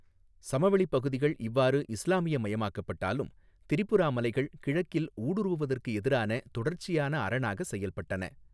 சமவெளிப் பகுதிகள் இவ்வாறு இஸ்லாமியமயமாக்கப்பட்டாலும், திரிபுரா மலைகள் கிழக்கில் ஊடுருவுவதற்கு எதிரான தொடர்ச்சியான அரணாக செயல்பட்டன.